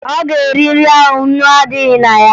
Ọ ga-eri nri ahụ ńnú na-adịghị na ya?